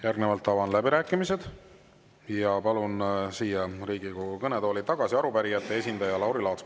Järgnevalt avan läbirääkimised ja palun siia Riigikogu kõnetooli tagasi arupärijate esindaja Lauri Laatsi.